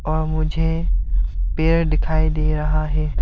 वहां मुझे पेड़ दिखाई दे रहा है।